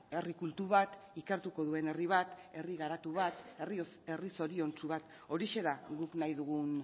herri kultu bat ikertuko duen herri bat herri garatu bat herri zoriontsu bat horixe da guk nahi dugun